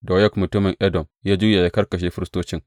Doyeg mutumin Edom ya juya ya kakkashe firistocin.